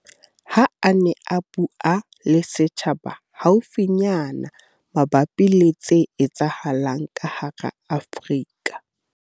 Ha a ne a bua le setjhaba haufinyana mabapi le tse etsahalang ka hara Afrika.